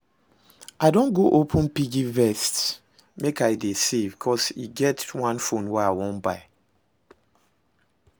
I don go open piggyvest make I dey save, cos e get one phone I wan buy